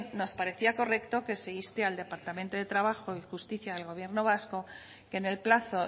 nos parecía correcto que se inste al departamento de trabajo y justicia del gobierno vasco que en el plazo